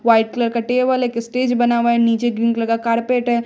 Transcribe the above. White colour का table है एक स्टेज बना हुआ नीचे ग्रीन कलर का कार्पेट है।